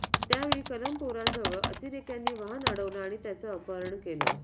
त्यावेळी कलमपोराजवळ अतिरेक्मयांनी वाहन अडवलं आणि त्यांचं अपहरण केले